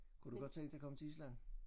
Kunne du godt tænke dig at komme til Island?